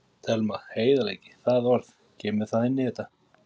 Telma: Heiðarleiki, það orð, kemur það inn í þetta?